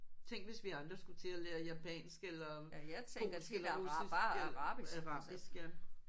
Tænk hvis vi andre skulle til at lære japansk eller polsk eller russisk eller arabisk ja